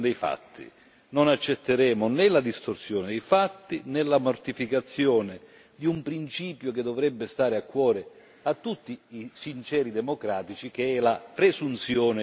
Non accetteremo né la distorsione dei fatti, né la mortificazione di un principio che dovrebbe stare a cuore a tutti i sinceri democratici, che è la presunzione di innocenza.